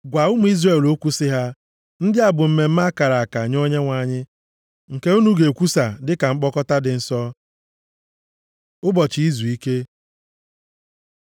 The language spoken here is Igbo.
“Gwa ụmụ Izrel okwu sị ha, ‘Ndị a bụ mmemme a kara aka nye Onyenwe anyị, nke unu ga-ekwusa dịka mkpọkọta dị nsọ. Ụbọchị izuike